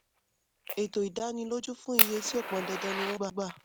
ètò ìdánilójú fún iye tí ó pọn dandan ni wọ́n gbà.